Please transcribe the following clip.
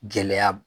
Gɛlɛya